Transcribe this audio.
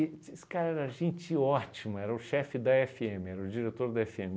esse cara era gente ótima, era o chefe da efe eme, era o diretor da efe eme.